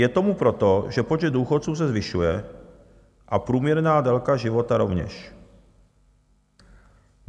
Je tomu proto, že počet důchodců se zvyšuje a průměrná délka života rovněž.